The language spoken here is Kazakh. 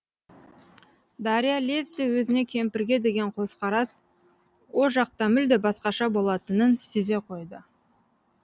дарья лезде өзіне кемпірге деген көзқарас о жақта мүлде басқаша болатынын сезе қойды